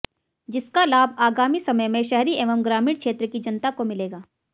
जिसका लाभ आगामी समय में शहरी एवं ग्रामीण क्षेत्र की जनता को मिलेगा